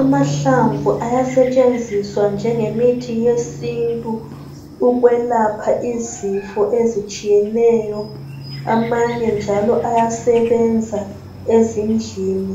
Amahlamvu ayasetshenziswa njengo muthi wesintu ukwelapha izifo ezitshiyeneyo amanye njalo ayasebenza ezindlini